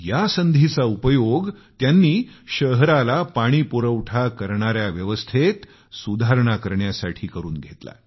या संधीचा उपयोग त्यांनी शहराला पाणी पुरवठा करणाऱ्या व्यवस्थेत सुधारणा करण्यासाठी करून घेतला